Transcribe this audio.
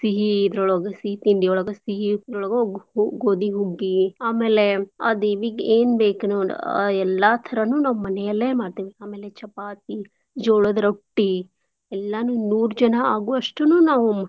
ಸಿಹೀ ಇದ್ರೊಳಗ ಸೀ ತಿಂಡಿಯೊಳಗ ಸಿಹೀದ್ರೊಳಗ ಗ್~ ಗೋದಿಹುಗ್ಗಿ ಆಮೇಲೆ ಆ ದೇವಿಗ್ ಏನ್ ಬೇಕ್ನೋಡ್ ಆ ಎಲ್ಲಾ ಥರನೂ ನಾವ್ ಮನಿಯಲ್ಲೆ ಮಾಡ್ತೆವ್. ಆಮೇಲೆ ಚಪಾತಿ ಜೋಳದ್ ರೊಟ್ಟೀ ಎಲ್ಲಾನೂ ನೂರ್ ಜನಾ ಆಗೋವಷ್ಟುನೂ ನಾವ್.